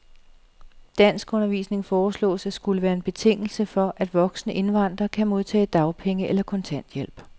Danskundervisning foreslås at skulle være en betingelse for, at voksne indvandrere kan modtage dagpenge eller kontanthjælp.